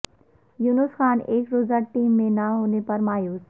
یونس خان ایک روزہ ٹیم میں نہ ہونے پر مایوس